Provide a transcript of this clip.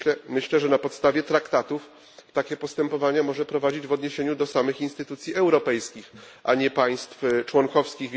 Myślę, że na podstawie traktatów takie postępowania może prowadzić w odniesieniu do samych instytucji europejskich, a nie państw członkowskich.